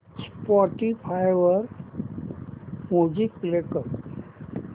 Spotify वर music play कर